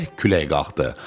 Bərk külək qalxdı.